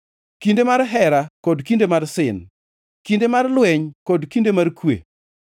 kinde mar hera kod kinde mar sin, kinde mar lweny kod kinde mar kwe.